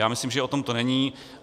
Já myslím, že o tom to není.